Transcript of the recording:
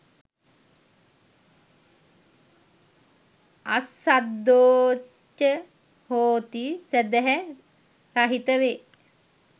අස්සද්ධෝ ච හෝති සැදැහැ රහිත වේ.